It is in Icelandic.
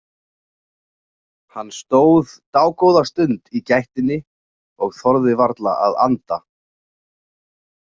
Hann stóð dágóða stund í gættinni og þorði varla að anda.